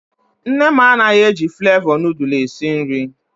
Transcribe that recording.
Nne m anaghị eji flevọ nudul esi nri.